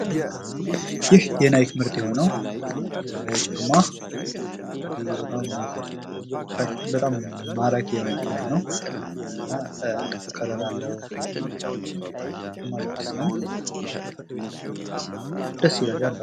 ይህ የናይክ ምርት የሆነው ጫማ በጣም ማራኪ የሆነ ጫማ ነው ፤ እና ጥቁር ከለር አለው ፤ ደስ ይላል ያምራል።